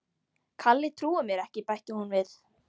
Kalli trúir mér ekki bætti hún við.